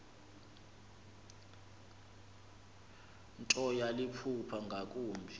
nto yaliphupha ngakumbi